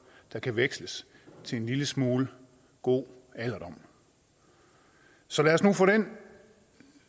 der kan veksles til en lille smule god alderdom så lad os nu få den